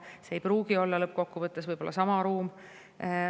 See ei pruugi olla lõppkokkuvõttes sama ruum.